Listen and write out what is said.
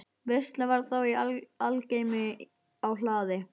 Veisla var þá í algleymi á hlaði.